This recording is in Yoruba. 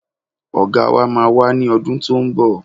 Ọ̀gá wa máa wá ní ọdún tó ń bọ̀